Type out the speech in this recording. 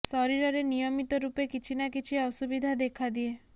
ଶରୀରରେ ନିୟମିତ ରୂପେ କିଛି ନା କିଛି ଅସୁବିଧା ଦେଖାଦିଏ